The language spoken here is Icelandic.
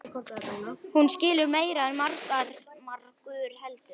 Hún skilur meira en margur heldur.